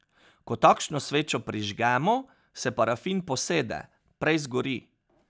Ko takšno svečo prižgemo, se parafin posede, prej zgori.